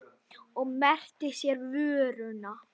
Og merkti sér vöruna.